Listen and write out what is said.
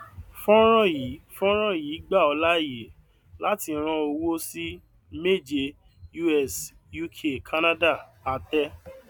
fọnrán yìí fọnrán yìí gbà ọ láàyè láti rán owó sí méje us uk canada àtẹ